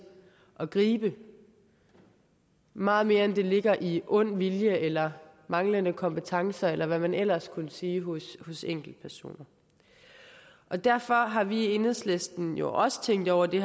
at gribe ind meget mere end det ligger i ond vilje eller manglende kompetencer eller hvad man ellers kunne sige hos enkeltpersoner og derfor har vi i enhedslisten jo også tænkt over det